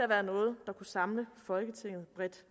være noget der kunne samle folketinget bredt